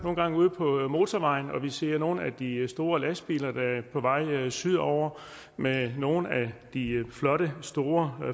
ude på motorvejen og ser nogle af de store lastbiler der er på vej sydover med nogle af de flotte store